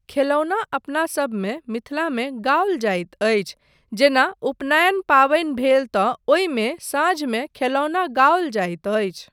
खेलौना अपनासभमे मिथिलामे गाओल जाइत अछि जेना उपनयन पाबनि भेल तँ ओहिमे साँझमे खेलौना गाओल जाइत अछि।